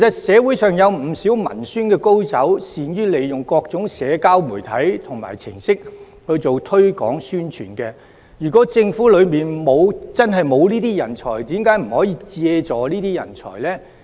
社會上其實有不少文宣高手，善於利用各種社交媒體和程式做推廣宣傳，如果政府內部真的沒有這樣的人才，為何不可以借助這些人才呢？